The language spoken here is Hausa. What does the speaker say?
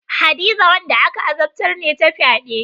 Hadiza wanda aka azabtar ne ta fyade.